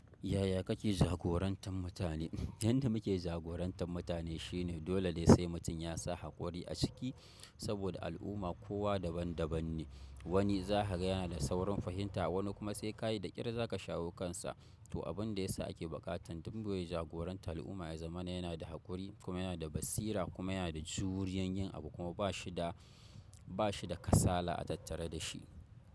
Yaya kake jagorantar mutane? Yanda muke jagorantar mutane shine dole ne sai mutum ya sa haƙuri a ciki saboda al’umma kowa daban daban ne. Wani za ka ga yana da saurin fahimta, wani kuma sai ka yi da ƙyar za ka shawo kansa. To, abin da ya sa ake buƙatar duk wanda ya jagoranci al’umma ya zama yana da haƙuri kuma yana da basira kuma yana da juriya yin abu kuma ba shi da kasala a tattare da shi.